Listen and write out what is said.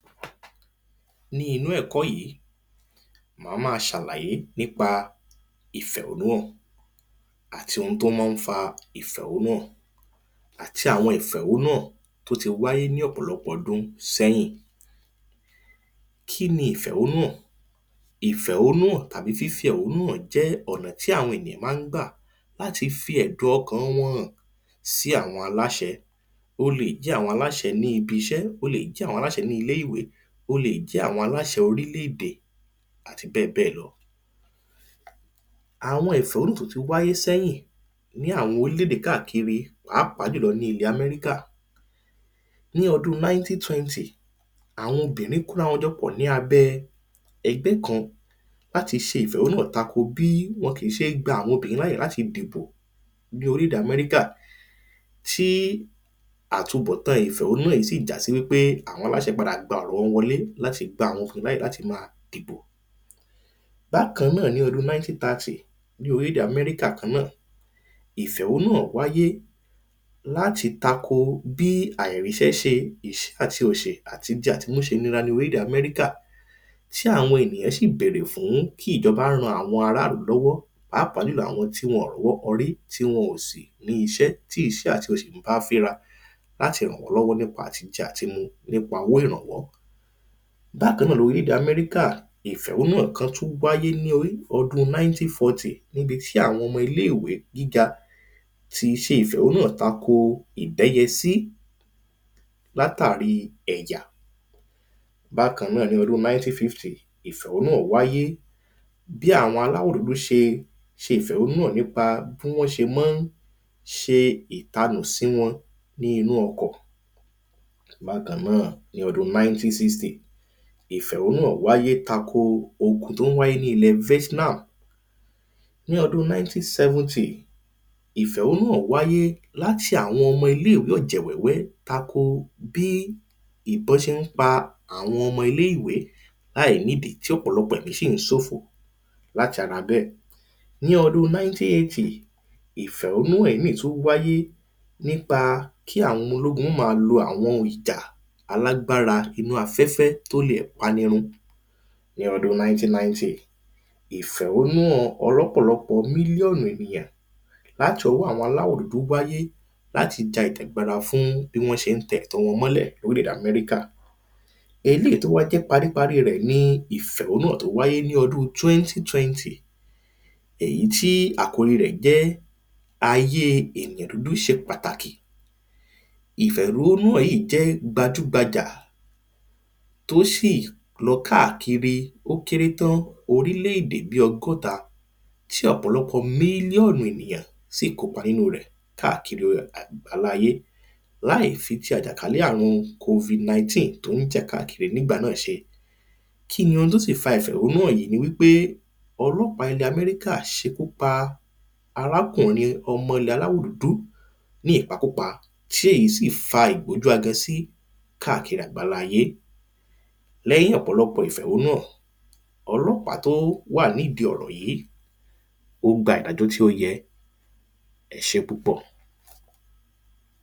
Ní inú ẹ̀kọ́ yìí má má ṣàlàyé nípa ìfẹ̀hónú hàn àti ohun tó má ń fa ìfẹ̀hónú hàn àti àwọn ìfẹ̀hónú hàn tí ó ti wáyé ní ọ̀pọ̀lọpọ̀ ọdún sẹ́yìn. Kíni ìfẹ̀hónú hàn? ìfẹ̀hónú hàn tàbí fífi ẹ̀hónú hàn jẹ́ ọ̀nà tí àwọn èyàn má ń gbà láti fi ẹ̀dùn ọkàn wọn hàn sí àwọn aláṣẹ ó le jẹ́ àwọn aláṣẹ ní ibi iṣẹ́ ó le jẹ́ àwọn aláṣẹ ní ilé ìwé ó le jẹ́ àwọn aláṣẹ orílè èdè àti bẹ́ẹ̀ bẹ́ẹ̀ lọ. Àwọn ìfẹ̀hónú hàn tí ó ti wáyé sẹ́yìn ní àwọn orílẹ̀ èdè kákà kiri pàápàá jùlọ ní orílẹ̀ èdè amẹ́ríkà ní ọdún nineteen twenty àwọn obìnrin kóra wọn jọ pọ̀ ní abé ẹgbẹ́ kan láti ṣe ìfẹ̀hónú hàn tako bí wọn kí tí ṣé gba àwọn obìnrin láyè láti dìbò Ní orílẹ̀ èdè amẹ́ríkà tí atunbọ̀ tán ìfẹ̀hónú hàn yìí sí jáde sí wípé àwọn aláṣẹ gba ọ̀rọ̀ wọn wọlé láti gba àwọn obìnrin láyè láti má dìbò. Bákan náà ní ọdún nineteen thirty ní orílẹ̀ èdè amẹ́ríkà kan náà ìfẹ̀hónú hàn wáyé láti tako bí àìrísẹ́ se ìsẹ́ àti òsì àti jẹ àti mú ṣe nira ní orílẹ̀ èdè amẹ́ríkà tí àwọn ènìyàn sí bèrè fún kí ìjọba ran àwọn ará ìlú lọ́wọ́ pàápàá jùlọ àwọn tí wọn ò rọ́wọ́ họrí tí wọn ò sí ní iṣẹ́ tí ìṣẹ́ àti òṣì ń bá fínra láti ràn wọ́n lọ́wọ́ nípa àtijẹ àtimu nípa owó ìrànwọ́. Bákan náà ní orílẹ̀ èdè amẹ́ríkà ìfẹ̀hónú hàn kan tún wáyé ọdún nineteen fourty níbi tí àwọn ọmọ ilé ìwé gíga ti ṣe ìfẹ̀hónú hàn tako ìdẹ́yẹ sí látàrí ẹ̀yà. Bákan náà ní ọdún nineteen fifty ìfẹ̀hónú hàn wáyé bí àwọn aláwọ̀ dúdú ṣe ṣe ìfẹ̀hónú hàn nípa bí wọ́n ṣe mọ́ ń ṣe ìtanù sí wọn ní inú ọkọ̀. Bákan náà ní ọdún nineteen sixty ìfẹ̀hónú hàn wáyé tako ogun tó ń wáyé ní ilẹ̀ Vietnam. Ní ọdún nineteen seventy ìfẹ̀hónú hàn wáyé láti àwọn ọmọ ilé ìwé ọ̀jẹ̀ wéwé tako bí ìbọn ṣé ń pa àwọn ọmọ ilé ìwé láì nídìí tí ọ̀pọ̀lọpọ̀ ẹ̀mí sì ń sòfò láti ara bẹ́ẹ̀. Ní ọdún nineteen eighty ìfẹ̀hónú hàn ìmí tún wáyé nípa kí àwọn ọmọ ológun má ma lo àwọn ohun ìjà inú afẹ́fẹ́ tó le pani run. Ní ọdún nineteen ninety ìfẹ̀hónú hàn ọlọ́pọ̀lọpọ̀ mílíọ̀nù ènìyàn láti ọwọ́ àwọn aláwọ̀ dúdú wáyé láti ja ìjàgbara fún bí wọ́n ṣé ń tẹ ẹ̀tọ́ wọn mọ́lẹ̀ ní orílè èdè amẹ́ríkà Eléèyí tó wá jẹ́ parí parí rẹ ni ìfẹ̀hónú hàn eléèyí tó wáyé ní ọdún twenty twenty èyí tí àkòrí rẹ̀ jẹ́ ayé ènìyàn dúdú ṣe pàtàkì ìfẹ̀hónú hàn yìí jẹ́ gbajú gbajà tó sì lọ káàkiri ó kéré tán orílè èdè bí ọgọ́ta tí ọ̀pọ̀lọpọ̀ mílíọ̀nù ènìyàn sí kópa nínú rẹ̀ káàkiri àgbáńlá ayé láì fi ti àjàkálè àrùn covid nineteen tó ń jà káàkiri nígbà náà ṣe kíni ó sì fa ìfẹ̀hónú hàn yìí ni wípé ọlọ́pàá ilẹ̀ amẹ́ríkà ṣekú pa arákùnrin ọmọ ilẹ̀ aláwọ̀ dúdú ní ìpa kúpa tí èyí sí fa ìgbójú agan sí káàkiri àgbáńlá ayé lẹ́yìn ọ̀pọ̀lọpọ̀ ìfẹ̀hónú hàn ọlọ́pàá tó wà nídìí ọ̀rọ̀ yìí ó gba ìdájọ́ tí ó yẹ ẹṣé púpọ̀.